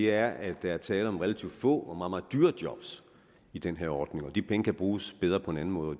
er at der er tale om relativt få og meget meget dyre job i den her ordning og de penge kan bruges bedre på en anden måde og